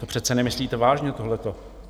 To přece nemyslíte vážně tohleto.